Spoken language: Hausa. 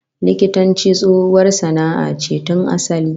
Likitanci tsohuwar sana'a ce tun asali